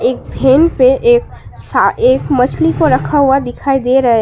एक भेन पे एक सा एक मछली को रखा हुआ दिखाई दे रहा है।